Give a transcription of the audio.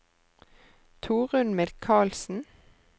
Torunn Mikalsen